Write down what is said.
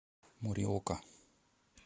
мориока